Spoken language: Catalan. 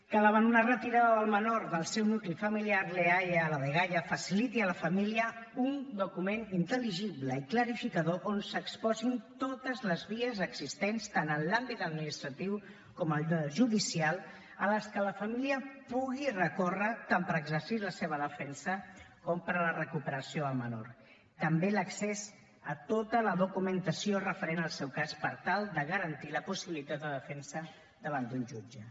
que davant una retirada del menor del seu nucli familiar l’eaia o la dgaia faciliti a la família un document intel·ligible i clarificador on s’exposin totes les vies existents tant en l’àmbit administratiu com en el judicial a què la família pugui recórrer tant per exercir la seva defensa com per a la recuperació del menor també l’accés a tota la documentació referent al seu cas per tal de garantir la possibilitat de defensa davant d’un jutge